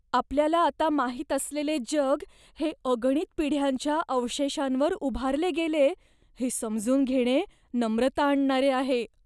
आपल्याला आता माहित असलेले जग हे अगणित पिढ्यांच्या अवशेषांवर उभारले गेलेय हे समजून घेणे नम्रता आणणारे आहे.